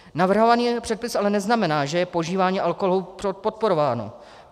Navrhovaný předpis ale neznamená, že je požívání alkoholu podporováno.